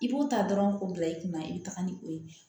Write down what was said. I b'u ta dɔrɔn k'u bila i kunna i bɛ taga ni o ye